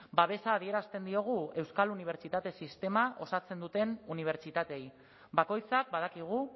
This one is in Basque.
babesa adierazten diogu euskal unibertsitate sistema osatzen duten unibertsitateei bakoitzak badakigu